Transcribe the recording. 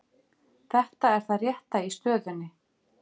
Þetta er það rétta í stöðunni